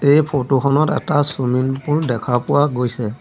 এই ফৰটো খনত এটা চুইমিং পুল দেখা পোৱা গৈছে।